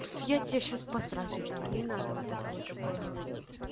я тебе сейчас по сраке дам не надо вот это вот такое говорить